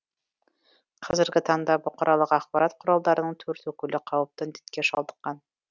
қазіргі таңда бұқаралық ақпарат құралдарының төрт өкілі қауіпті індетке шалдыққан